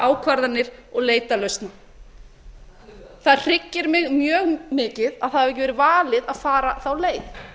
ákvarðanir og leita lausna það hryggir mig mjög mikið að það hafi ekki verið valið að fara þá leið